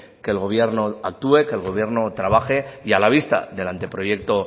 que el gobierno actúe que el gobierno trabaje y a la vista del anteproyecto